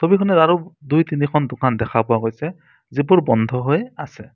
ছবিখনত আৰু দুই তিনিখন দোকান দেখা পোৱা গৈছে যিবোৰ বন্ধ হৈ আছে।